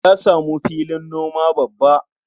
Ya samu filin noma babba.